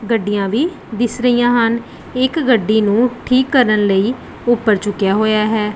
ਗੱਡੀਆਂ ਵੀ ਦਿੱਸ ਰਹੀਆਂ ਹਨ ਇੱਕ ਗੱਡੀ ਨੂੰ ਠੀਕ ਕਰਨ ਲਈ ਊਪਰ ਝੁੱਕਿਆ ਹੋਇਆ ਹੈ।